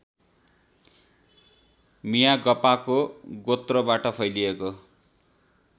मियागपाको गोत्रबाट फैलिएको